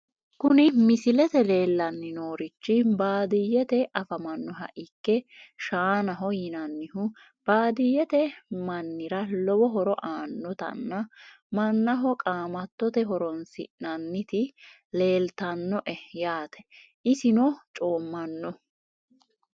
Kuni misilete leelani noorichi baadiyete afamanoha ikke shaanaho yinanihu baadiyete manira lowo horo aanotana manaho qaamatote horonsinaniti leeltanoe yaate isino coomano.